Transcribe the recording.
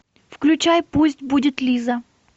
включай пусть будет лиза